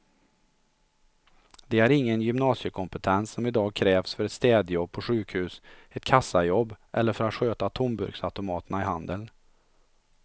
De har ingen gymnasiekompetens som i dag krävs för ett städjobb på sjukhus, ett kassajobb eller för att sköta tomburksautomaterna i handeln.